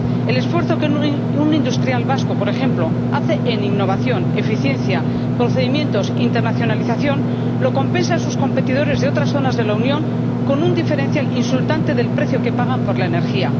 El esfuerzo que un industrial vasco, por ejemplo, hace en innovación, eficiencia, procedimientos, internacionalización, lo compensan sus competidores de otras zonas de la Unión con un diferencial insultante del precio que pagan por la energía.